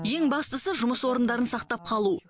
ең бастысы жұмыс орындарын сақтап қалу